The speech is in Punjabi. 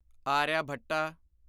ਆਰਿਆਭਟਾ